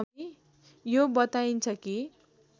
यो बताइन्छ कि